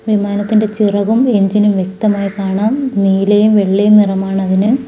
വിമാനത്തിന്റെ ചിറകും എൻജിനും വ്യക്തമായി കാണാം നീലയും വെള്ളയും നിറമാണ് അതിന്.